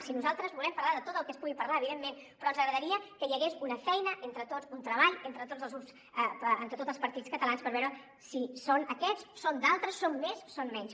si nosaltres volem parlar de tot el que es pugui parlar evidentment però ens agradaria que hi hagués una feina entre tots un treball entre tots els grups entre tots els partits catalans per veure si són aquests són d’altres són més són menys